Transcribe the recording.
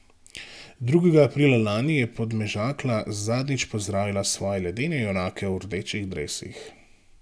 Drugega aprila lani je Podmežakla zadnjič pozdravila svoje ledene junake v rdečih dresih.